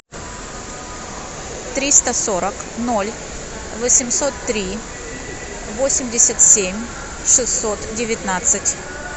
триста сорок ноль восемьсот три восемьдесят семь шестьсот девятнадцать